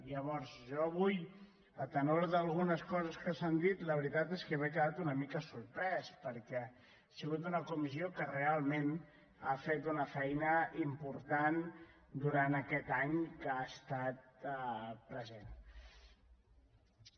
llavors jo avui per algunes coses que s’han dit la veritat és que m’he quedat una mica sorprès perquè ha sigut una comissió que realment ha fet una feina important durant aquest any que ha estat present